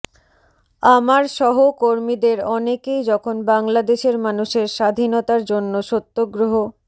আমার সহ কর্মীদের অনেকেই যখন বাংলাদেশের মানুষের স্বাধীনতার জন্য সত্যগ্রহ